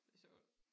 Det sjovt